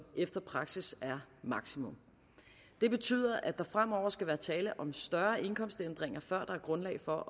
efter praksis er maksimum det betyder at der fremover skal være tale om større indkomstændringer før der er grundlag for